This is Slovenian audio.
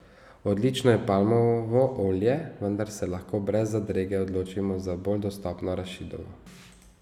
Odlično je palmovo olje, vendar se lahko brez zadrege odločimo za bolj dostopno arašidovo.